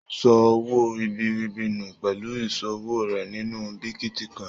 O sọ owó ribiribi nu pẹlú ìṣòwò rẹ sínú bitíkọ̀in.